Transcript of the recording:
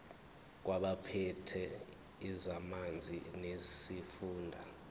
kwabaphethe ezamanzi nesifunda